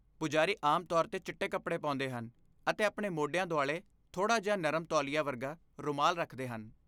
ਪੁਜਾਰੀ ਆਮ ਤੌਰ 'ਤੇ ਚਿੱਟੇ ਕੱਪੜੇ ਪਾਉਂਦੇ ਹਨ ਅਤੇ ਆਪਣੇ ਮੋਢਿਆਂ ਦੁਆਲੇ ਥੋੜਾ ਜਿਹਾ ਨਰਮ ਤੌਲੀਆ ਵਰਗਾ ਰੁਮਾਲ ਰੱਖਦੇ ਹਨ